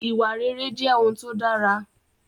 Ìwà rere jẹ́ ohun tó dára